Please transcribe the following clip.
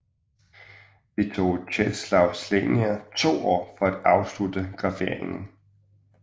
Det tog Czesław Słania to år at afslutte graveringen